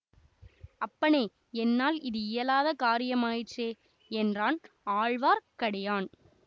அப்பனே என்னால் இது இயலாத காரியம் ஆயிற்றே என்றான் ஆழ்வார்க்கடியான்